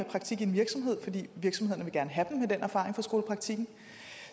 praktik i en virksomhed fordi virksomhederne gerne vil have dem med den erfaring fra skolepraktikken